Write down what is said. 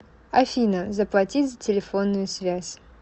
афина заплатить за телефонную связь